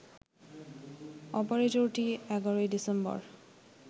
অপারেটরটি ১১ December